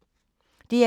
DR2